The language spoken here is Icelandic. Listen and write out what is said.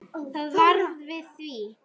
Það varð við því.